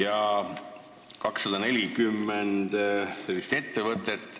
On 240 sellist ettevõtet.